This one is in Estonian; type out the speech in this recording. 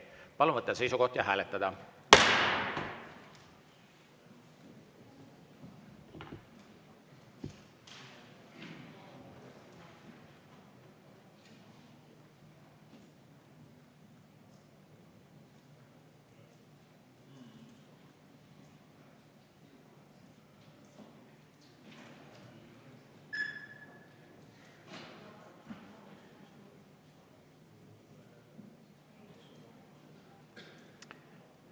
Palun võtta seisukoht ja hääletada!